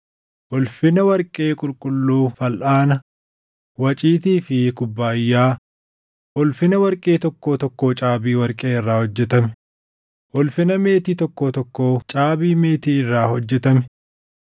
ulfina warqee qulqulluu falʼaana, waciitii fi kubbaayyaa, ulfina warqee tokkoo tokkoo caabii warqee irraa hojjetame; ulfina meetii tokkoo tokkoo caabii meetii irraa hojjetame;